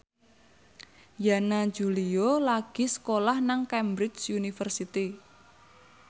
Yana Julio lagi sekolah nang Cambridge University